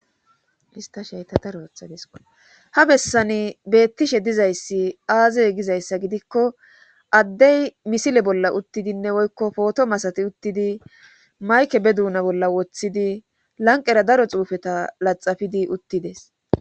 ista sheyta darootha disko ha bessani beettishe dizayssi aazey gizayssa gidikko addey misile bolla uttidinne woykko pootomasati uttidi mayke be duuna bolla woththidi lanqera daro xuufeta laxafidi uttides